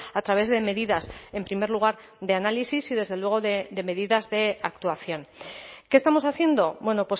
a través de medidas en primer lugar de análisis y desde luego de medidas de actuación qué estamos haciendo bueno